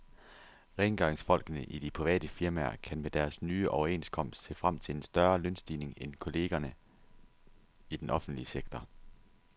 Rengøringsfolkene i de private firmaer kan med deres nye overenskomst se frem til en større lønstigning end kollegerne i den offentlige sektor.